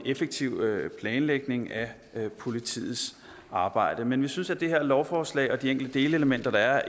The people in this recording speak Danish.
effektiv planlægning af politiets arbejde men vi synes at det her lovforslag og de enkelte delelementer der er